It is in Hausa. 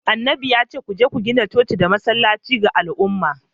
annabin ya ce ku je ku gina coci da masallaci ga al’umma.